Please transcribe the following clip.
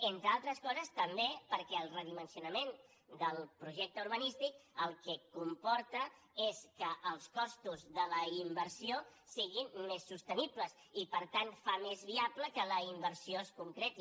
entre altres coses també perquè el redimensionament del projecte urbanístic el que comporta és que els costos de la inversió siguin més sostenibles i per tant fa més viable que la inversió es concreti